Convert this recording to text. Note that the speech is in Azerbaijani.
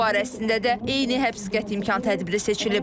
Onun barəsində də eyni həbs qəti imkan tədbiri seçilib.